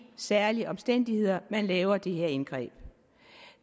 særlige omstændigheder man laver det her indgreb